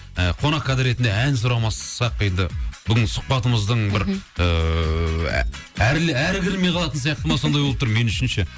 қонақкәде ретінде ән сұрамасақ енді бүгінгі сұхбатымыздың бір ііі әрлі әрі кірмей қалатын сияқты ма сондай болып тұр мен үшін ше